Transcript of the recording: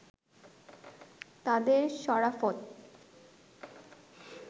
তাঁদের সরাফত